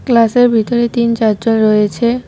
Class -এর ভিতরে তিন চারজন রয়েছে।